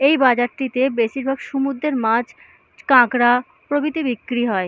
এই বাজারটিতে বেশিরভাগ সমুদ্রের মাছ কাঁকড়া প্রভৃতি বিক্রি হয়।